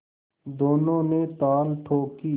दोनों ने ताल ठोंकी